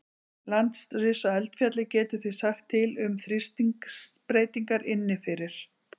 Landris á eldfjalli getur því sagt til um þrýstingsbreytingar inni fyrir.